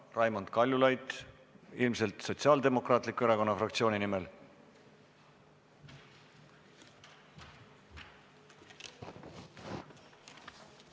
Jaa, Raimond Kaljulaid, ilmselt Sotsiaaldemokraatliku Erakonna fraktsiooni nimel!